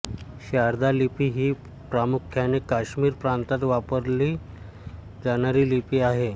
शारदा लिपी ही प्रामुख्याने काश्मीर प्रांतात वापरली जाणारी लिपी आहे